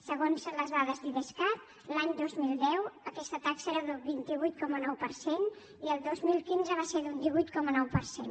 segons les dades d’idescat l’any dos mil deu aquesta taxa era del vint vuit coma nou per cent i el dos mil quinze va ser d’un divuit coma nou per cent